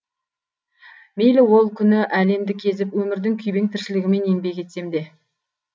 мейлі ол күні әлемді кезіп өмірдің күйбең тіршілігімен еңбек етсемде